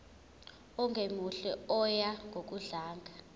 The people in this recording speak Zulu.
ongemuhle oya ngokudlanga